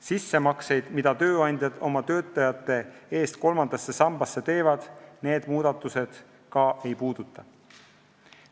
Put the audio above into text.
Sissemakseid, mida tööandjad oma töötajate eest kolmandasse sambasse teevad, need muudatused ka ei puuduta.